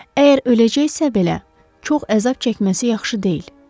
“Əgər öləcəksə belə, çox əzab çəkməsi yaxşı deyil.”